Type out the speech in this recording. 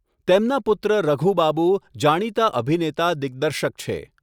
તેમના પુત્ર રઘુ બાબુ, જાણીતા અભિનેતા દિગ્દર્શક છે.